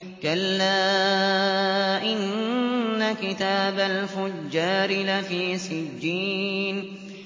كَلَّا إِنَّ كِتَابَ الْفُجَّارِ لَفِي سِجِّينٍ